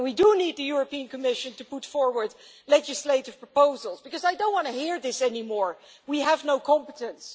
And we do need the European Commission to bring forward legislative proposals, because I don't want to hear anymore we have no competence'.